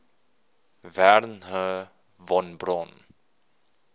wernher von braun